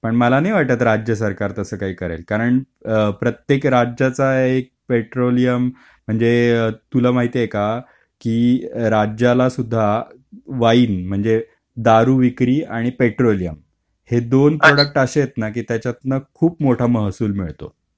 पण मला नाही वाटत राज्य सरकार तसं काही करेल कारण प्रत्येक राज्याचा एक पेट्रोलियम म्हणजे म्हणजे तुला माहित आहे का की राज्याला सुद्धा वाईन म्हणजे दारू विक्री आणि पेट्रोलियम हे दोन प्रॉडक्ट असे आहेत ना की त्याच्यात ना खूप मोठा महसूल मिळतो.